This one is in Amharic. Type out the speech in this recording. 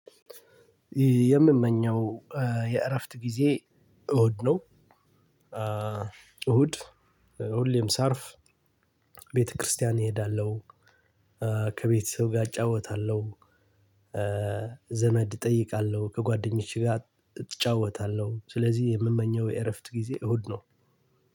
የምመኘው የእረፍት ጊዜ እሁድ ነው። እሁድ ሁሌም ሳርፍ ቤተክርስቲያን እሄዳለሁ። ከቤት ሰው ጋር አጫውታለሁ። ዘመድ እጠይቃለሁ ከጓደኞቼ ጋር እጫወታለሁ። ስለዚህ የምመኘው የእረፍት ጊዜ እሁድ ነው።